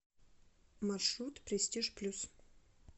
маршрут престиж плюс